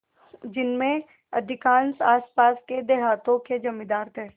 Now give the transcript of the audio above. जिनमें अधिकांश आसपास के देहातों के जमींदार थे